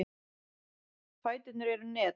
Fæturnir eru net.